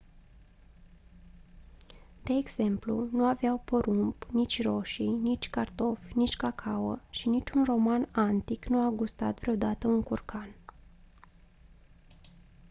de exemplu nu aveau porumb nici roșii nici cartofi nici cacao și niciun roman antic nu a gustat vreodată un curcan